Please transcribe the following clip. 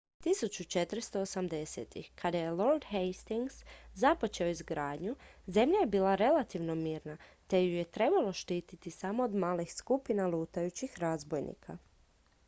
1480-ih kada je lord hastings započeo izgradnju zemlja je bila relativno mirna te ju je trebalo štititi samo od malih skupina lutajućih razbojnika